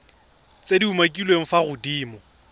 tse di umakiliweng fa godimo